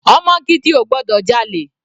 Ọmọ gidi ò gbọdọ̀ jalè.